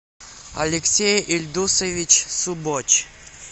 алексей ильдусович субоч